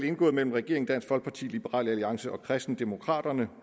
indgået mellem regeringen dansk folkeparti liberal alliance og kristendemokraterne